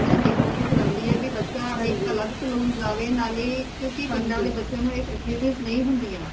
ਹਮੇਸ਼ਾ mam ਏਹੀ ਕੋਸ਼ਿਸ਼ ਰਹਿੰਦੀ ਹੈ ਭੀ ਬੱਚਾ ਇਕ ਅਲਗ saloon ਜਾਵੇ ਨਾਲੇ ਕਿਉਂਕਿ ਪਿੰਡਾਂ ਵਾਲੇ ਬੱਚਿਆਂ ਨੂ ਐ facilities ਨਈ ਹੁੰਦੀਆਂ।